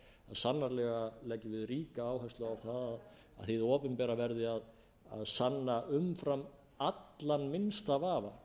sannarlega leggjum við ríka áherslu á að hið opinbera verði að sanna umfram allan minnsta vafa